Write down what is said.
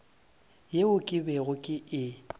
yeo ke bego ke e